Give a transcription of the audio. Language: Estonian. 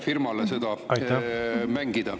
… ühele firmale seda mängida.